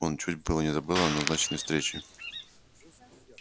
он чуть было не забыл о назначенной встрече